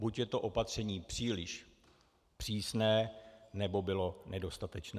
Buď je to opatření příliš přísné, nebo bylo nedostatečné.